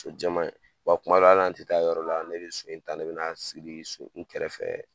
So jɛman in, wa kuma dɔ la hali n'an ti taa yɔrɔ la ne be so in ta ne be n'a siri so kun kɛrɛfɛ